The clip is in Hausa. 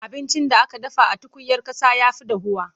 Abincin da aka dafa a tukuyar ƙasa ya fi dahuwa.